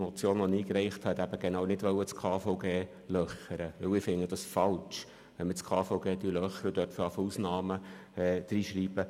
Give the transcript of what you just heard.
Ich finde es falsch, wenn man das KVG auszuhöhlen beginnt und Ausnahmen aufnimmt.